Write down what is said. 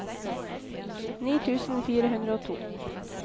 ni tusen fire hundre og to